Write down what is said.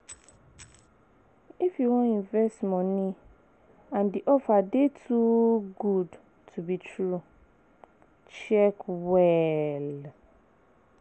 If you wan invest money and di offer dey too good to be true, check well